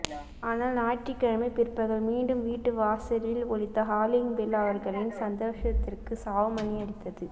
ஆனால் ஞாயிற்றுக்கிழமை பிற்பகல் மீண்டும் வீட்டு வாசலில் ஒலித்த ஹாலிங் பெல் அவர்களின் சந்தோஷத்திற்கு சாவு மணி அடித்தது